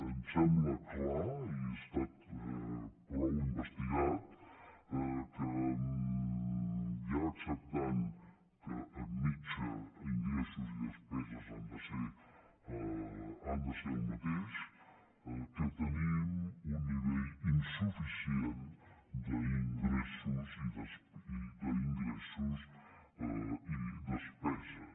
em sembla clar i ha estat prou investigat que ja acceptant que en mitjana ingressos i despeses han de ser el mateix tenim un nivell insuficient d’ingressos i despeses